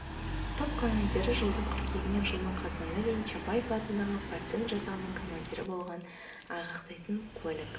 топ командирі жылдың қыркүйегінен жылдың қазанына дейін чапаев атындағы партизан жасағының командирі болғанын айғақтайтын куәлік